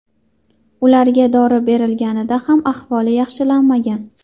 Ularga dori berilganida ham ahvoli yaxshilanmagan.